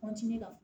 la